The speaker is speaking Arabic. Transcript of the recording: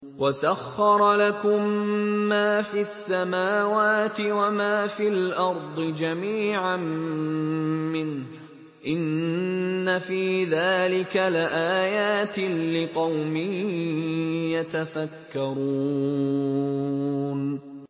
وَسَخَّرَ لَكُم مَّا فِي السَّمَاوَاتِ وَمَا فِي الْأَرْضِ جَمِيعًا مِّنْهُ ۚ إِنَّ فِي ذَٰلِكَ لَآيَاتٍ لِّقَوْمٍ يَتَفَكَّرُونَ